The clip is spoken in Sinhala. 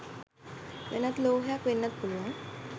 වෙනත් ලෝහයක් වෙන්නත් පුළුවන්.